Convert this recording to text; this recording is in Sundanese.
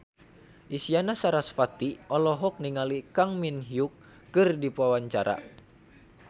Isyana Sarasvati olohok ningali Kang Min Hyuk keur diwawancara